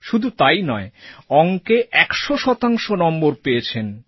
শুধু তাই নয় অঙ্কে ১০০ শতাংশ নম্বর পেয়েছেন